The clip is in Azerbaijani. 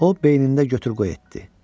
O beynində götür-qoy etdi.